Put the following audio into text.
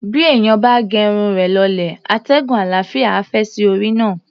Bí èèyàn bá ge irun rẹ̀ lọlẹ̀, atẹ́gùn àlàáfíà á fẹ́ sí orí náà.